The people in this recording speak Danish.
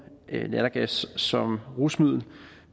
lattergas som rusmiddel